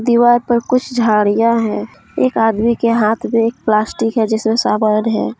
दीवार पर कुछ झाड़ियां है एक आदमी के हाथ में एक प्लास्टिक है जिसमें समान है।